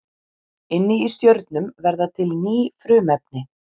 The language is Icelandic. Inni í stjörnum verða til ný frumefni.